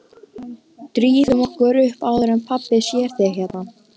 Drífum okkur upp áður en pabbi sér þig hérna